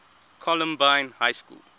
columbine high school